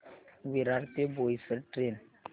विरार ते बोईसर ट्रेन